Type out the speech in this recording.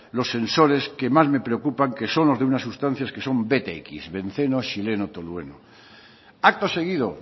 los sensores que más me preocupan que son los de unas sustancias que son btx benceno xileno tolueno acto seguido